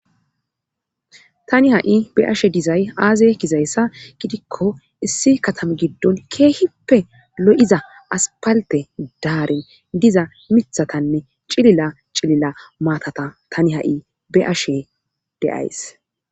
tani ha7i be ashe dizay aazey kizayssa gidikko issi katame giddon keehippe lo7iza aspalte daare diza mithatanne cilila cilila maatata tani ha7i be7ashe deays